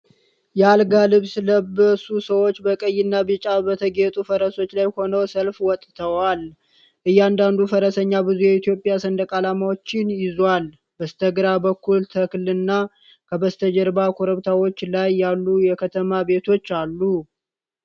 የአልጋ ልብስ ለበሱ ሰዎች በቀይና ቢጫ በተጌጡ ፈረሶች ላይ ሆነው ሰልፍ ወጥተዋል። እያንዳንዱ ፈረሰኛ ብዙ የኢትዮጵያ ሰንደቅ አላማዎችን ይዞአል። በስተግራ በኩል ተክልና ከበስተጀርባ ኮረብታዎች ላይ ያሉ የከተማ ቤቶችአሉ።